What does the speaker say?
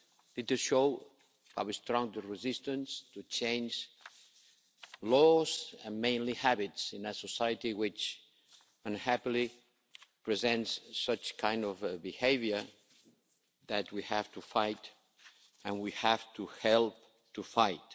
It shows how strong the resistance is to change laws, and mainly habits, in a society which, unhappily, presents such kind of behaviour that we have to fight and we have to help to fight.